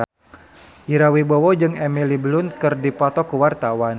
Ira Wibowo jeung Emily Blunt keur dipoto ku wartawan